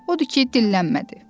Odur ki, dillənmədi.